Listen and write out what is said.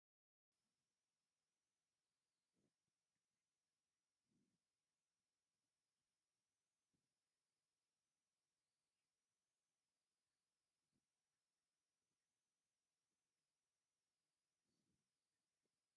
ስፍሪ ቁፅሪ ዘይብሎም ናይ ህያብ ቅርፃ ቅርፅን ሸቐጣትን ዝሓዘ ሹቕ እኒሀ፡፡ ናይዚ ሹቕ እዚ ኣማዊል ብኣብዝሓ ናይቲ ከባቢ ነበርቲ ዶ ይኾኑስ በፃሕቲ ዓዲ?